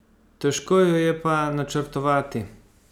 Težko jo je pa načrtovati.